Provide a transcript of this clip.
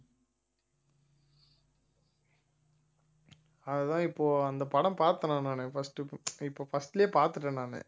அதுதான் இப்போ அந்த படம் பார்த்தேன்ணா நானு first இப்ப first லயே பார்த்துட்டேன் நானு